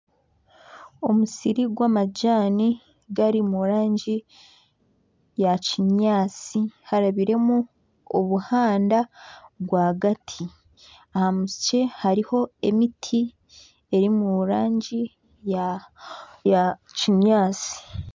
Omusiri gw'amajani gari omu rangi ya kinyaatsi harabiremu obuhanda rwagati hariho emiti eri omu rangi ya kinyaatsi